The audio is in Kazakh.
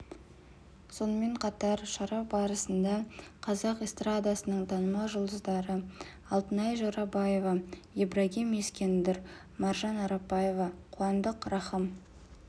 сонымен қатар шара барысында қазақ эстрадасының танымал жұлдыздары алтынай жорабаева ибрагим ескендір маржан арапбаева қуандық рахым